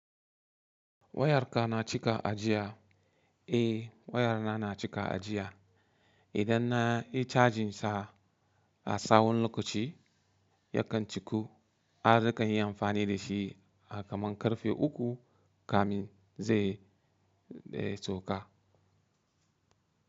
Wayarka na cika ajiya? Eh waya na cika ajiya. Idan na yi cajin sa a tsawan lokaci, ya kan ciku, nakan yi amfani da shi, a kaman ƙarfe uku kamin zai sauka.